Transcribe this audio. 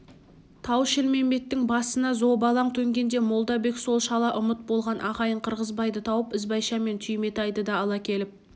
тау-шілмембеттің басына зобалаң төнгенде молдабек сол шала ұмыт болған ағайын қырғызбайды тауып ізбайша мен түйметайды да ала келіп